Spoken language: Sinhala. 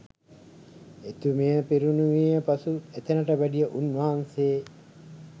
එතුමිය පිරිනිවී පසු එතැනට වැඩිය උන්වහන්සේ